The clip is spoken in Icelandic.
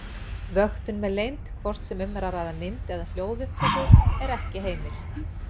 Vöktun með leynd, hvort sem um er að ræða mynd- eða hljóðupptöku, er ekki heimil.